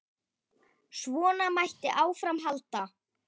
Svona mætti áfram halda.